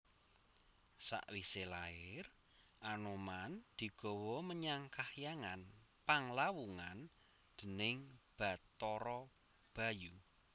Sawisé lair Anoman digawa menyang kahyangan Panglawungan déning Bathara Bayu